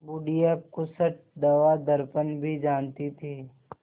बुढ़िया खूसट दवादरपन भी जानती थी